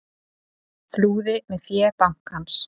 Flúði með fé bankans